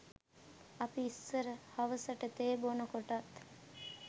අපි ඉස්සර හවසට තේ බොනකොටත්